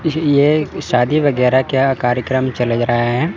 ये शादी वगैरह क्या कार्यक्रम चल रहा है।